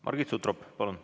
Margit Sutrop, palun!